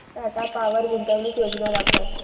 Tata power गुंतवणूक योजना दाखव